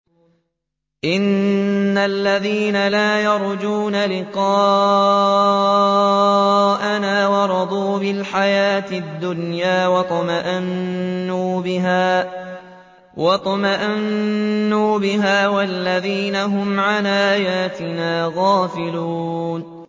إِنَّ الَّذِينَ لَا يَرْجُونَ لِقَاءَنَا وَرَضُوا بِالْحَيَاةِ الدُّنْيَا وَاطْمَأَنُّوا بِهَا وَالَّذِينَ هُمْ عَنْ آيَاتِنَا غَافِلُونَ